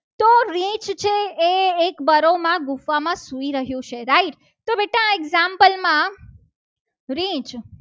એક બરોમાં ગુફામાં સૂઈ રહ્યું છે. right તો બેટા example માં રીંછ